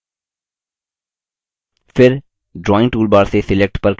फिर drawing toolbar से select पर click करें